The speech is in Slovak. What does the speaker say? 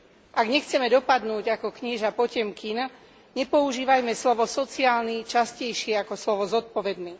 Ak nechceme dopadnúť ako knieža Potemkin, nepoužívajme slovo sociálny častejšie ako slovo zodpovedný.